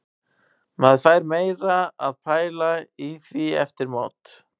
Maður fer meira að pæla í því eftir mót.